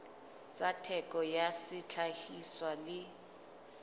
tsa theko ya sehlahiswa le